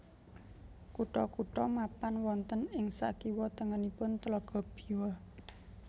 Kutha kutha mapan wonten ing sakiwa tengenipun Tlaga Biwa